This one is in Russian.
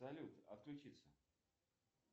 салют отключиться